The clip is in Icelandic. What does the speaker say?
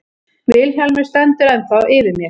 Vilhjálmur stendur ennþá yfir mér.